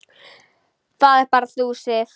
Það ert bara þú, Sif.